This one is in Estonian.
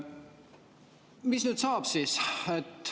Mis nüüd saab siis?